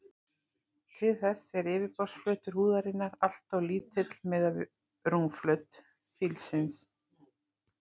Til þess er yfirborðsflötur húðarinnar alltof lítill miðað við rúmmál fílsins.